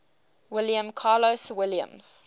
william carlos williams